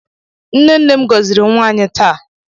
Nne nne m gọziri nwa anyị taa.